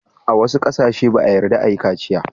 A wassu kasance ba'a yarda a yi kaciya.